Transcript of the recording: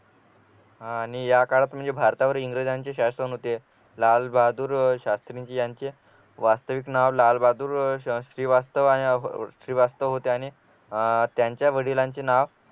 आणि या काळात म्हणजे भारतावर इंग्रजांचे शासन होते लालबहादूर शास्त्री यांचे वास्तविक नाव लालबहादूर शास्त्री श्रीवास्तव श्रीवास्तव होते आणि अह त्यांच्या वडिलांचे नाव